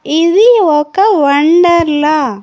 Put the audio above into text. ఇది ఒక వండర్లా .